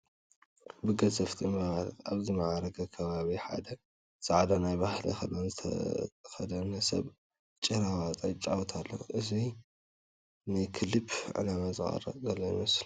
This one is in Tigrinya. ብገዘፍቲ እምባታት ኣብ ዝማዕረገ ከባቢ ሓደ ፃዕዳ ናይ ባህሊ ክዳን ዝተኸደነ ሰብ ጭራ ዋጣ ይፃወት ኣሎ፡፡ እዚ ሰብ ንክሊፕ ዕላማ ዝቕረፅ ዘሎ እዩ ዝመስል፡፡